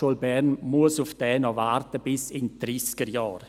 Die BFH muss noch bis in die Dreissigerjahre auf diesen warten.